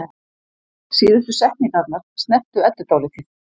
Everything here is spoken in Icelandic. Síðustu setningarnar snertu Eddu dálítið.